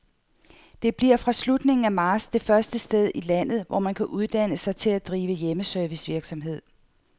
Det bliver fra slutningen af marts det første sted i landet, hvor man kan uddanne sig til at drive hjemmeservicevirksomhed.